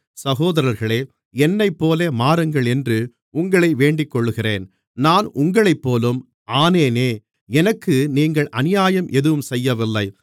சகோதரர்களே என்னைப்போல மாறுங்கள் என்று உங்களை வேண்டிக்கொள்ளுகிறேன் நான் உங்களைப்போலும் ஆனேனே எனக்கு நீங்கள் அநியாயம் எதுவும் செய்யவில்லை